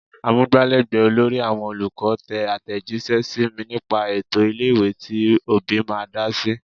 Amugbalegbe olórí àwọn olùkọ́ tẹ atejise sí mi nípa ètò ilé-ìwé tí òbí máa dá sí.